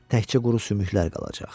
Təkcə quru sümüklər qalacaq.